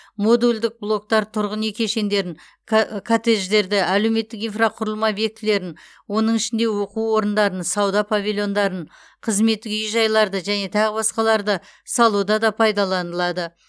модульдік блоктар тұрғын үй кешендерін ка коттедждерді әлеуметтік инфрақұрылым объектілерін оның ішінде оқу орындарын сауда павильондарын қызметтік үй жайларды және тағы басқаларды салуда да пайдаланылады